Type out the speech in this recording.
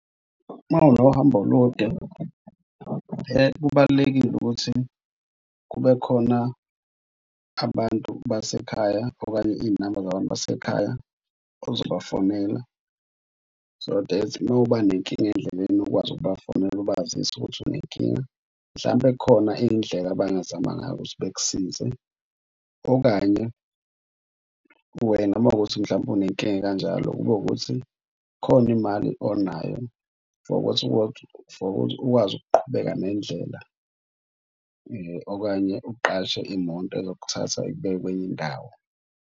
Uma unohambo olude , kubalulekile ukuthi kube khona abantu basekhaya okanye iy'namba zabantu basekhaya ozobafonela. So that uma uba nenkinga endleleni ukwazi ukubafonela ubazise ukuthi unenkinga mhlampe khona indlela abangazama ngayo ukuthi bekusize. Okanye wena uma ukuthi mhlawumbe unenkinga ekanjalo, kube ukuthi khona imali onayo for ukuthi ukwazi ukuqhubeka nendlela. Okanye uqashe imoto ezokuthatha ikubeke kwenye indawo.